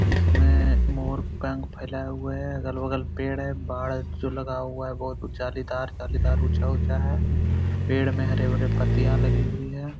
इसमें मोर पंख फैलाए हुए है अगल-बगल पेड़ है पहाड़ जो लगा हुआ है बहुत जालीदार-जालीदार ऊंचा-ऊंचा है पेड़ में हरे-भरे पत्तियां लगी हुई है ।